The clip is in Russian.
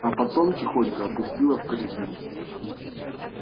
а потом тихонько опустила в корзину